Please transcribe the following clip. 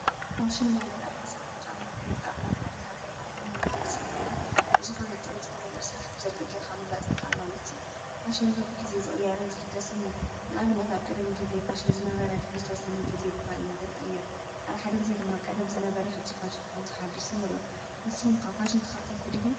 ፋሽን ማለት ኣልባሳትን ጫማን ብምፍጣርናይ ሓደ ሃገር ባሕሊ ምንነት ሥልጣንን ብዝኾነት ጥበብ ዝተመሎ ሥራሕ ብጀርገ ግኻ ምግላጽ ምዃል ማለስ እዩ ፋሽን በብ ጊዜ ዝቕያርን ዘኅደስን እዩ። ናብነት ኣብ ቀደሚ ጊዜ ፋሽን ዝነበረ ድኅድዝተ ወሰነ ጊዜ ብኻሊ ነገር ይቕየር ኣራኃድ ጊዜ ድማ ቐደም ዝነበረ ሕጅ ፋሹኑ ኾይተሓድስን ኑሩዮ ንስኹምካ ፋሽን ተኸተልቲ ዲኹም?